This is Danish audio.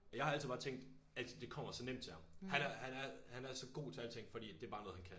Jeg har altid bare tænkt alting det kommer så nemt til ham. Han er han er han er så god til alting fordi det bare noget han kan